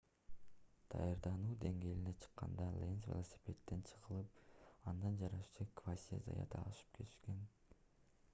даярдануу деңгээлине чыкканда ленз велосипедден жыгылып андан жарышчы квасье заят ашып кеткен